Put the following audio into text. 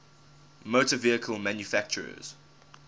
motor vehicle manufacturers